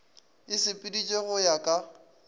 e sepeditšwe go ya ka